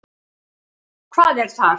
Hvað er þar?